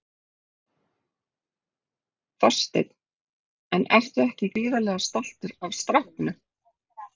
Þorsteinn: En ertu ekki gríðarlega stoltur af strákunum?